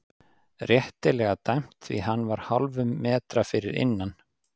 Réttilega dæmt því hann var hálfum metra fyrir innan.